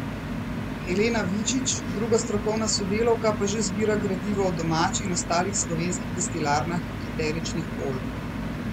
Helena Vičič, druga strokovna sodelavka pa že zbira gradivo o domači in ostalih slovenskih destilarnah eteričnih olj.